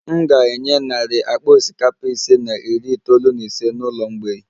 M ga-enye narị akpa osikapa ise na iri itoolu na ise n'ụlọ mgbei